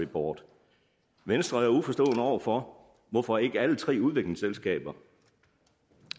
board venstre er uforstående over for hvorfor ikke alle tre udviklingsselskaber